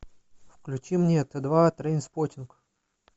включи мне т два трейнспоттинг